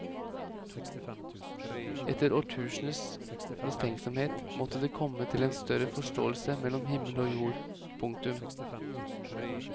Etter årtuseners mistenksomhet måtte det komme til en større forståelse mellom himmel og jord. punktum